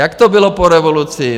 Jak to bylo po revoluci?